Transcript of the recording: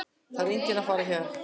Það er enginn að fara héðan.